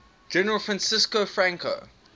general francisco franco